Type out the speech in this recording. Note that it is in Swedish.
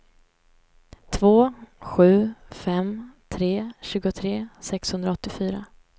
två sju fem tre tjugotre sexhundraåttiofyra